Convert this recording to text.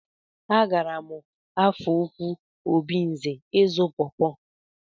A gaara m Afọ Ukwu Obinze ịzụ pọpọ.